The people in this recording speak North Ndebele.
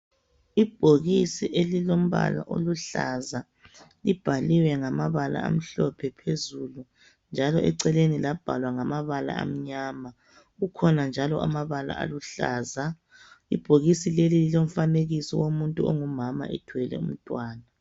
Ibhokisi elilombala oluhlaza, libhaliwe ngamabala amhlophe phezulu njalo eceleni labhalwa ngamabala amnyama kukhona njalo amabala aluhlaza. Ibhokisi leli lilomfanekiso womuntu ongumama ethwele umntwana.